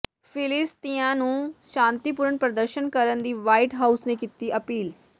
ਫਿਲੀਸਤੀਨੀਆਂ ਨੂੰ ਸ਼ਾਂਤੀਪੂਰਨ ਪ੍ਰਦਰਸ਼ਨ ਕਰਨ ਦੀ ਵ੍ਹਾਈਟ ਹਾਊਸ ਨੇ ਕੀਤੀ ਅਪੀਲ